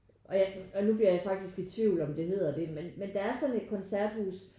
Og jeg og nu bliver jeg faktisk i tvivl om det hedder det men men der er sådan et koncerthus